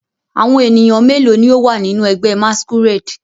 Awọn eniyan melo ni o wa ninu ẹgbẹ masquerade?